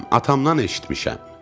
atamdan eşitmişəm.